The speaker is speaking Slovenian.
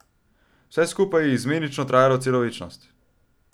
Vse skupaj je izmenično trajalo celo večnost.